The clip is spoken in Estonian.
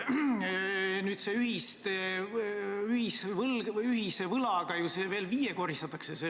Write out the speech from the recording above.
Nüüd ühise võlaga õiglase ülemineku fondi summa viiekordistatakse.